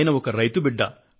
ఆయన ఒక రైతు బిడ్డ